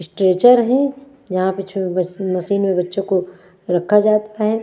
Stretcher है यहाँ पे छो वाशिंग में बच्चों को रखा जाता है।